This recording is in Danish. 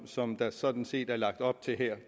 som der sådan set er lagt op til her